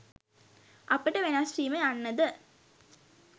අපට වෙනස් වීම යන්න ද